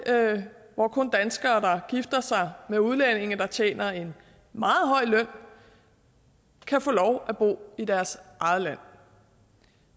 hvor kun danskere der gifter sig med udlændinge der tjener en meget høj løn kan få lov at bo i deres eget land